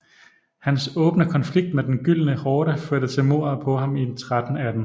Hans åbne konflikt med Den Gyldne Horde førte til mordet på ham i 1318